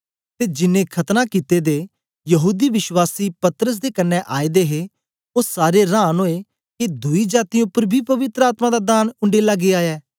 ते जिनैं खतना कित्ते दे यहूदी विश्वासी पतरस दे कन्ने आए दे हे ओ सारे रांन ओए के दुई जातीयें उपर बी पवित्र आत्मा दा दान उंडेला गीया ऐ